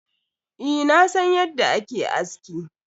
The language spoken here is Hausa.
Eh, na san yadda a ke aski.